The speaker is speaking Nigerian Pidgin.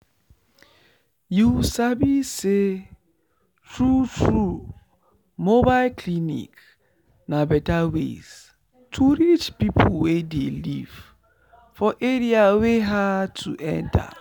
you sabi say true true mobile clinic na better way to reach people wey dey live for area wey hard to enter.